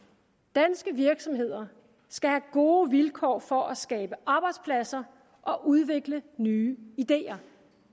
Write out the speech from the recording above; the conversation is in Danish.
danske virksomheder skal have gode vilkår for at skabe arbejdspladser og udvikle nye idéer